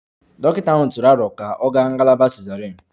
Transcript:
Dọkịta ahụ tụrụ aro ka ọ gaa ngalaba cesarean